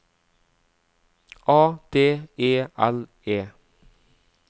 A D E L E